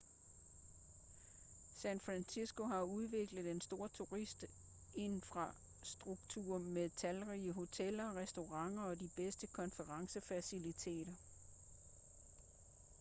san francisco har udviklet en stor turistinfrastruktur med talrige hoteller restauranter og de bedste konferencefaciliteter